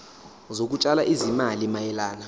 zokutshala izimali mayelana